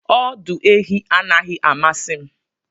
Ọdụ ehi anaghị amasị m